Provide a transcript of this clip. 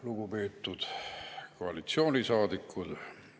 Lugupeetud koalitsioonisaadikud!